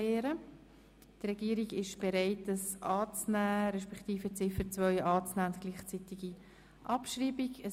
Die Regierung ist bereit, das Postulat anzunehmen, respektive die Ziffer 2 bei gleichzeitiger Abschreibung anzunehmen.